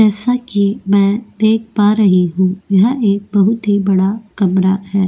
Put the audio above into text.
जैसा कि मैं देख पा रही हूं यह एक बहुत ही बड़ा कमरा है।